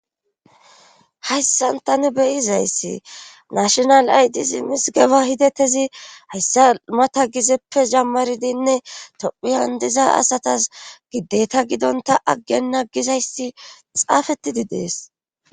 Hayssan tani beyizayssi nashonal aydisi mizgeba hidattezi hayssa mata gizeppe jammaridinne tophi handiza asatas gideta gidonta aggena gizayssi xaafettidi dees.